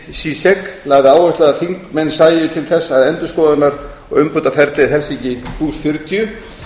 cemil çiçek lagði áherslu á að þingmenn sæju til þess að endurskoðunar og umbótaferlið helsinki fjörutíu